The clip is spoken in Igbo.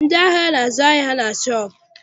Ndị ahịa na- azụ ahịa na shọọpụ.